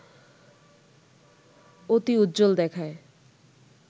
অতি উজ্জ্বল দেখায়